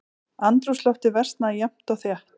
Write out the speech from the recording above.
Andrúmsloftið versnaði jafnt og þétt.